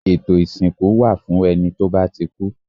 Ètò ìsìnkú wà fún ẹni tó bá ti kú